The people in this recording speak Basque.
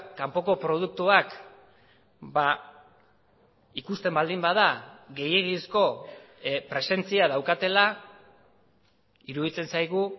kanpoko produktuak ikusten baldin bada gehiegizko presentzia daukatela iruditzen zaigu